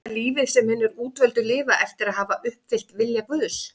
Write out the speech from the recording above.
Er það lífið sem hinir útvöldu lifa eftir að hafa uppfyllt vilja Guðs?